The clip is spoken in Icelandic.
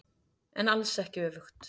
En alls ekki öfugt.